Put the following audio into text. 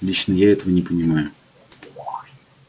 лично я этого не понимаю